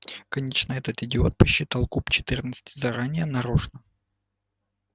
конечно этот идиот подсчитал куб четырнадцати заранее нарочно